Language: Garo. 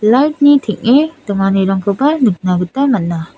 light -ni teng·e donganirangkoba nikna gita mana .